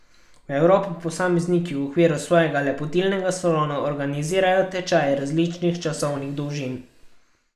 V Evropi posamezniki v okviru svojega lepotilnega salona organizirajo tečaje različnih časovnih dolžin.